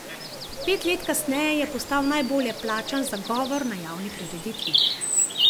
Pet let kasneje je postal najbolje plačan za govor na javni prireditvi.